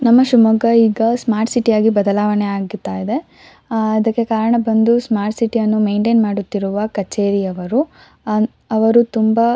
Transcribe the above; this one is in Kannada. ನಮ್ಮ ಶಿಮೊಗ್ಗಾ ಈಗ ಸ್ಮಾರ್ಟ್ ಸಿಟಿ ಬದಲಾವಣೆ ಆಗತ್ತಾ ಇದೆ ಅಹ್ ಅದಕ್ಕೆ ಕಾರಣ ಬಂದು ಸ್ಮಾರ್ಟ್ ಸಿಟಿ ಅನ್ನು ಮೇಂಟೈನ್ ಮಾಡುತ್ತಿರುವ ಕಚೇರಿಯವರು ಅವರು ತುಂಬಾ --